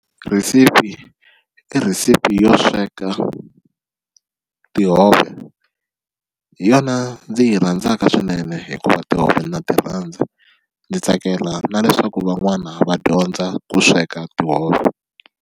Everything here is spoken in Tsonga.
Rhesipi i recipe yo sweka tihove hi yona ndzi yi rhandzaka swinene hikuva tihove na ti rhandza ndzi tsakela na leswaku van'wana va dyondza ku sweka tihove.